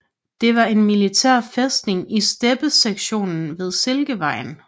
Det var en militær fæstning i steppesektionen ved Silkevejen